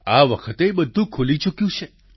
આ વખતે ઘણું બધું ખૂલી ચૂક્યું છે